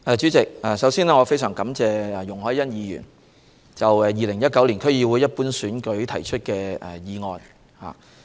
主席，首先，我非常感謝容海恩議員就2019年區議會一般選舉提出的議案。